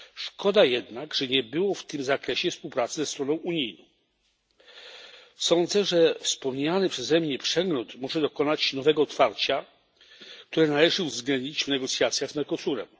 Szkoda jednak, że nie było w tym zakresie współpracy ze stroną unijną. Sądzę, że wspomniany przeze mnie przegląd może dokonać nowego otwarcia, które należy uwzględnić w negocjacjach z Mercosurem.